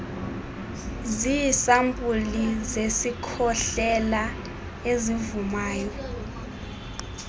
ziisampuli zezikhohlela ezivumayo